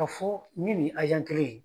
Ka fɔ nin ni kelen ye.